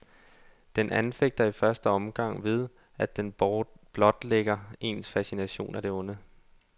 Den anfægter i første omgang ved, at den blotlægger ens fascination af det onde.